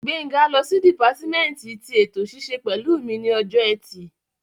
Gbénga lọ sí dìpátímẹ́ǹtì tí ètò ṣíṣe pẹ̀lú mi ní ọjọ́ ẹtì